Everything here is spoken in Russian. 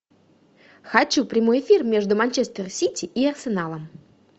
хочу прямой эфир между манчестер сити и арсеналом